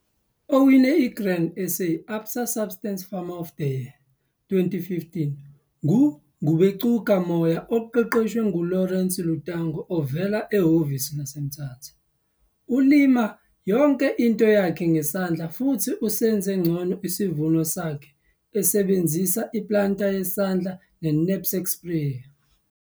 Owine iGrain SA - ABSA Subsistence Farmer of the Year, 2015 nguNgubengcuka Moyo oqeqeshwa nguLawrence Lutango ovela ehhovisi laseMthatha. Ulima yonke into yakhe ngesandla futhi usenze ngcono isivuno sakhe esebenzisa iplanta yesandla ne-knapsak sprayer.